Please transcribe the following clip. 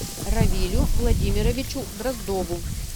равилю владимировичу дроздову